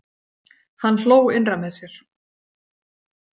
Hann hló innra með sér.